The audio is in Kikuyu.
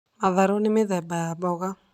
matharũ nĩ mũthemba wa mboga.